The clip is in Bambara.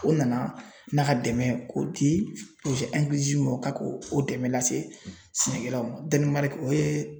O nana n'a ka dɛmɛ ye k'o di ma o ka k'o dɛmɛ lase sɛnɛkɛlaw ma o ye